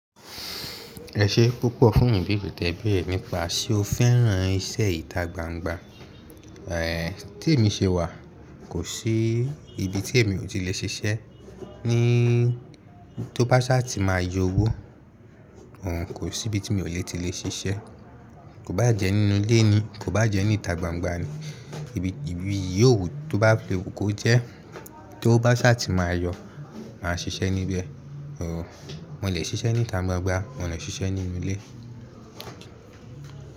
Ẹ ṣe púpọ̀ fún ibeere te beere nipa. Ṣé o fẹ́ràn iṣẹ́ ìta gbangba? Tí èmi ṣe wà, kò sí ibi tí èmi ò ti lè ṣe iṣẹ́ ní tó bá ṣà ti máa yọ owó ohun kò sí ibi tí mi ò lè ti lè ṣe iṣẹ́. Kò bá jẹ́ nínú ilé ni, kò bá jẹ́ ní ìta gbangba ni, ibi, ibi yíòwu tó bá filewu ko jẹ́ tówo bá ṣà ti máa yọ, máa ṣiṣẹ́ níbẹ̀. Ooh, mo lè ṣiṣẹ́ ní ìta gbangba, mo lè ṣiṣẹ́ nínú ilé.